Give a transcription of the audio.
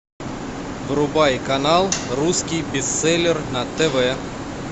врубай канал русский бестселлер на тв